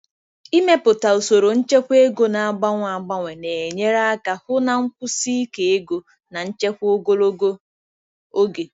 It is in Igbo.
Ịmepụta usoro nchekwa ego na-agbanwe agbanwe na-enyere aka hụ na nkwụsi ike ego na nchekwa ogologo oge.